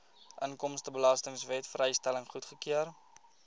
inkomstebelastingwet vrystelling goedgekeur